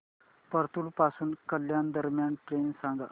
परतूर पासून कल्याण दरम्यान ट्रेन सांगा